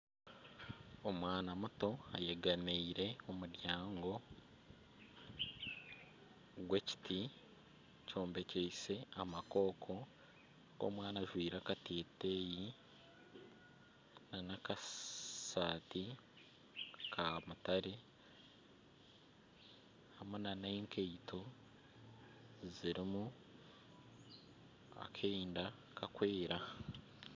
Omwana muto ayegamiire omuryango gw'ekiti kyombekyeise amakooko ogwo omwana ajwaire akateteyi nana akasaati kamutare hamwe nana enkaito zirimu akeenda kakwera